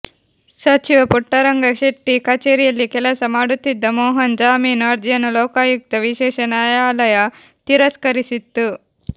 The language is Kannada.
ಸಚಿವ ಪುಟ್ಟರಂಗ ಶೆಟ್ಟಿ ಕಚೇರಿಯಲ್ಲಿ ಕೆಲಸ ಮಾಡುತ್ತಿದ್ದ ಮೋಹನ್ ಜಾಮೀನು ಅರ್ಜಿಯನ್ನು ಲೋಕಾಯುಕ್ತ ವಿಶೇಷ ನ್ಯಾಯಾಲಯ ತಿರಸ್ಕರಿಸಿತ್ತು